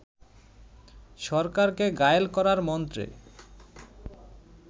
সরকারকে ঘায়েল করার মন্ত্রে